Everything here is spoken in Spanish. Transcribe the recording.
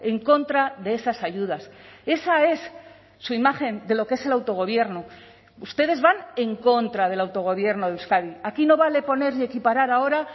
en contra de esas ayudas esa es su imagen de lo que es el autogobierno ustedes van en contra del autogobierno de euskadi aquí no vale poner y equiparar ahora